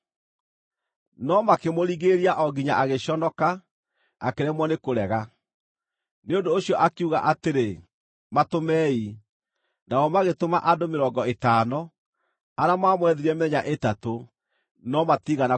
No makĩmũringĩrĩria o nginya agĩconoka, akĩremwo nĩ kũrega. Nĩ ũndũ ũcio akiuga atĩrĩ, “Matũmei.” Nao magĩtũma andũ mĩrongo ĩtano, arĩa maamwethire mĩthenya ĩtatũ, no matiigana kũmuona.